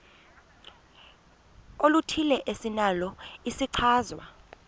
oluthile esinalo isichazwa